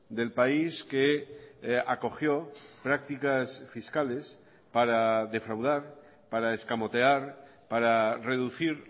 del país que acogió prácticas fiscales para defraudar para escamotear para reducir